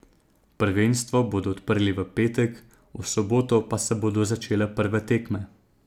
Prvenstvo bodo odprli v petek, v soboto pa se bodo začele prve tekme.